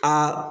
Aa